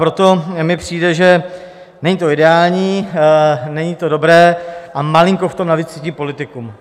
Proto mi přijde, že není to ideální, není to dobré a malinko v tom navíc cítím politiku.